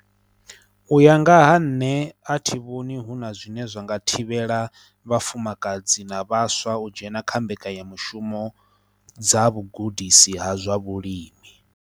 U ya nga ha nṋe a thi vhoni hu na zwine zwa nga thivhela vhafumakadzi na vhaswa u dzhena kha mbekanyamushumo dza vhugudisi ha zwa vhulimi.